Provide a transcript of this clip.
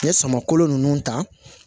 N ye samako ninnu ta